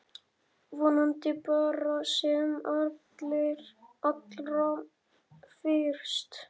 Vonandi bara sem allra fyrst.